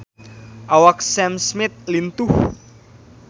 Awak Sam Smith lintuh